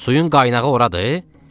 Suyun qaynağı oradır?